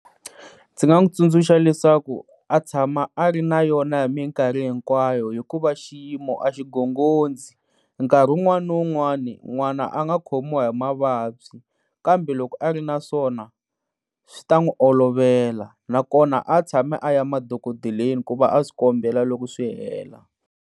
Ndzi nga n'wi tsundzuxa leswaku a tshama a ri na yona hi minkarhi hinkwayo hikuva xiyimo a xigongondzi, nkarhi un'wani ni un'wani n'wana a nga khimiwa hi mavabyi kambe loko a ri naswona swi ta n'wi olovela na kona a tshami a ya madokodeleni ku va a swi kombela loko swi hela.